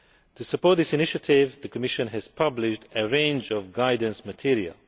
To support this initiative the Commission has published a range of guidance material.